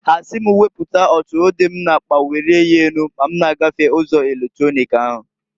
Ha si m weputa ọtụrụ dị m n'akpa welie ya enu ma m na-gafe ụzọ eletronik ahu.